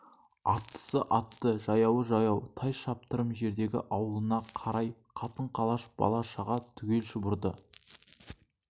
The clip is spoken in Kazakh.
аттысы атты жаяуы жаяу тай шаптырым жердегі аулына қарай қатын-қалаш бала-шаға түгел шұбырды